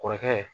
Kɔrɔkɛ